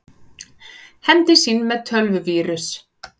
Hefndi sín með tölvuvírus